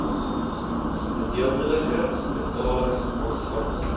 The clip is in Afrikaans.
gedeeltelike betaling ontvang